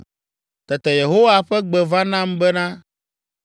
Tete Yehowa ƒe gbe va nam bena,